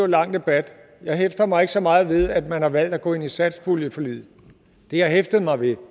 lang debat jeg hæfter mig ikke så meget ved at man har valgt at gå ind i satspuljeforliget det jeg hæfter mig ved